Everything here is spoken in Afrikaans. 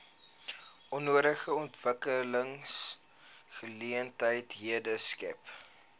nodige ontwikkelingsgeleenthede skep